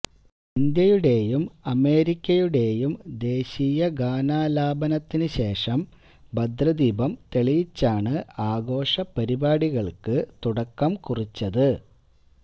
ഇന്ത്യയുടേയും അമേരിക്കയുടേയും ദേശീയ ഗാനാലാപനത്തിനുശേഷം ഭദ്രദീപം തെളിയിച്ചാണ് ആഘോഷ പരിപാടികള്ക്ക് തുടക്കംകുറിച്ചത്